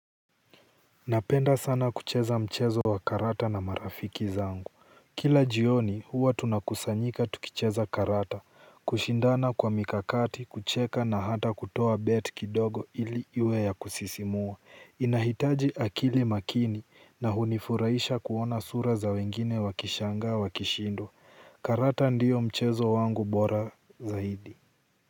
Napenda sana kucheza mchezo wa karata na marafiki zangu. Kila jioni huwa tunakusanyika tukicheza karata, kushindana kwa mikakati, kucheka na hata kutoa bet kidogo ili iwe ya kusisimua. Inahitaji akili makini na hunifurahisha kuona sura za wengine wakishangaa wakishindwa. Karata ndiyo mchezo wangu bora zaidi.